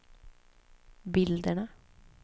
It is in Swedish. bilderna